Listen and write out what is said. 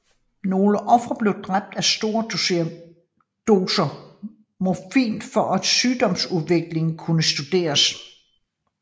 Nogle ofre blev dræbt af store doser morfin for at sygdomsudviklingen kunne studeres